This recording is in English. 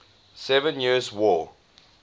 seven years war